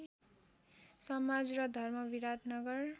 समाज र धर्म विराटनगर